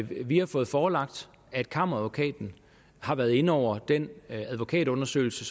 vi har fået forelagt at kammeradvokaten har været inde over den advokatundersøgelse